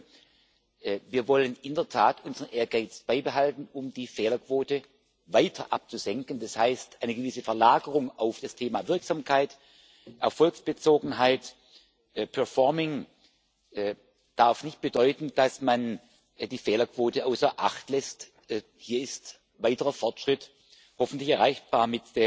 Zum Ersten Wir wollen in der Tat unseren Ehrgeiz beibehalten, um die Fehlerquote weiter abzusenken. Das heißt, eine gewisse Verlagerung auf das Thema Wirksamkeit, Erfolgsbezogenheit, performing darf nicht bedeuten, dass man die Fehlerquote außer Acht lässt. Hier ist weiterer Fortschritt hoffentlich erreichbar.